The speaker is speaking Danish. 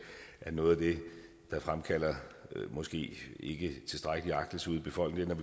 at noget af det der fremkalder måske ikke tilstrækkelig agtelse ude i befolkningen er